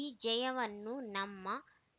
ಈ ಜಯವನ್ನು ನಮ್ಮ